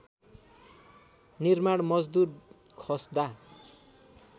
निर्माण मजदूर खस्दा